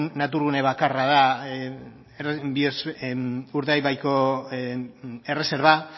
naturgune bakarra da urdaibaiko erreserba